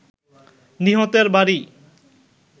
নিহতের বাড়ি